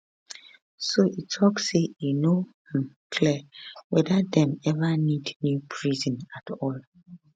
so e tok say e no um clear whether dem even need new prison at all